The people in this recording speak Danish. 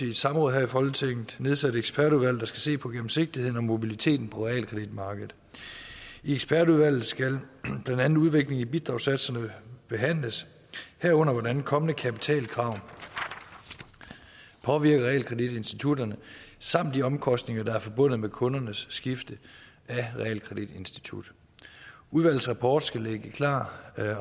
i et samråd her i folketinget nedsat et ekspertudvalg der skal se på gennemsigtigheden og mobiliteten på realkreditmarkedet i ekspertudvalget skal blandt andet udviklingen i bidragssatserne behandles herunder hvordan kommende kapitalkrav påvirker realkreditinstitutterne samt de omkostninger der er forbundet med kundernes skifte af realkreditinstitut udvalgets rapport skal ligge klar